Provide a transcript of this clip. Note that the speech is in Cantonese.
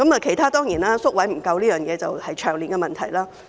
其他方面，當然還有宿位不足，這是長年的問題。